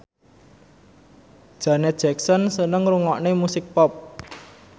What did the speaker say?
Janet Jackson seneng ngrungokne musik pop